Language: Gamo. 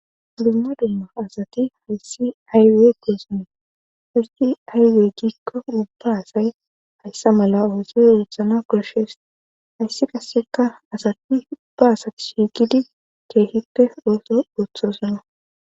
Dumma dumma asati hayssi aywey goosone histi aywey giikko ubba asay hayssa mala ooso oothana koshshees hayssi qaseka asati ubba asati shiigidi keehippe ooso ooththosona